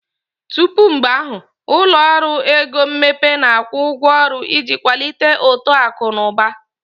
Tupu mgbe ahụ, ụlọ ọrụ ego mmepe na-akwụ ụgwọ ọrụ iji kwalite uto akụ na ụba.